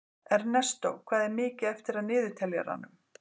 Ernestó, hvað er mikið eftir af niðurteljaranum?